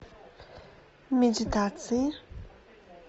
медитации